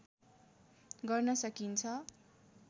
गर्न सकिन्छ